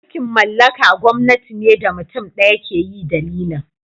Mulki'n mallaka gwamnati ne da mutum daya ke yi dalilin.